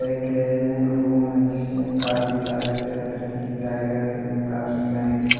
एक ये रूम है जिसमें काफी सारे तरह तरह की टायरें रखी हुई हैं काफी महंगी--